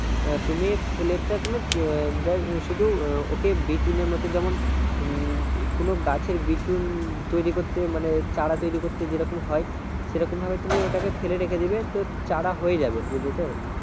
আহ তুমি ফুলেরটা তুমি আহ শুধু উহ ওকে বিচুনের মতো যেমন উম কোনো গাছের বিচুন তৈরি করতে মানে চারা তৈরি করতে যেরকম হয় সেইরকম ভাবে তুমি ওটাকে ফেলে রেখে দিবে তো চারা হয়ে যাবে বুঝলে তো